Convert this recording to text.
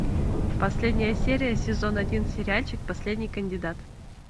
последняя серия сезон один сериальчик последний кандидат